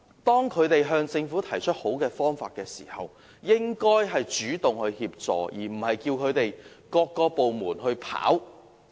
當他們向政府提出好的方法時，政府應主動協助，而不是叫他們自行接觸各個政府部門。